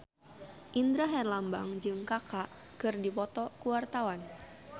Indra Herlambang jeung Kaka keur dipoto ku wartawan